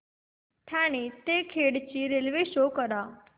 ठाणे ते खेड ची railway show करा